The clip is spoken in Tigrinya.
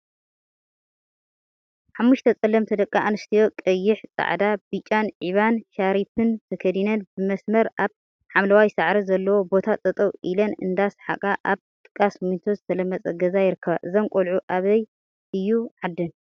ሓሙሽተ ፀለምቲ ደቂ አንስተዮ ቀይሕ፣ ፃዕዳ፣ ብጫን ዒባ ሻርፒን ተከዲነን ብመስመረ አብ ሓምለዋይ ሳዕሪ ዘለዎ ቦታ ጠጠው ኢለን እንዳ ሰሓቃ አብ ጥቃ ስሚንቶ ዝተለመፀ ገዛ ይርከባ፡፡ እዘን ቆልዑ አበይ እዩ ዓደን?